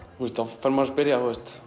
þá fer maður að spyrja